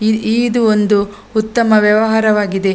E ಇದು ಒಂದು ಉತ್ತಮ ವ್ಯವಹಾರವಾಗಿದೆ --